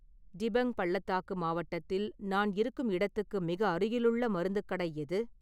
டிபங் பள்ளத்தாக்கு மாவட்டத்தில் நான் இருக்கும் இடத்துக்கு மிக அருகிலுள்ள மருந்துக் கடை எது?